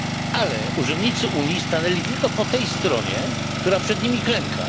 Ale urzędnicy Unii stanęli tylko po tej stronie, która przed nimi klęka.